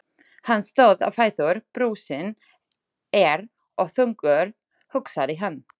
Hann stóð á fætur, brúsinn er of þungur, hugsaði hann.